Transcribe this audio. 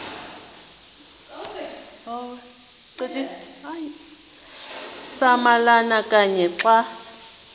samalama kanye xa